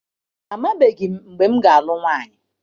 Amabeghị m mgbe m ga-alụ nwaanyị.